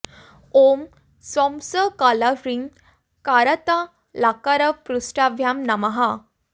ॐ सौं स क ल ह्रीं करतलकरपृष्ठाभ्यां नमः